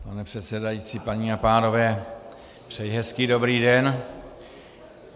Pane předsedající, paní a pánové, přeji hezký dobrý den.